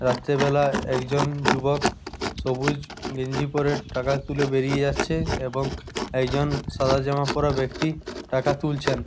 রাত্রেবেলা একজন যুবক সবুজ গেঞ্জি পরে টাকা তুলে বেরিয়ে যাচ্ছে এবং একজন সাদা জামা পড়া ব্যাক্তি টাকা তুলছেন।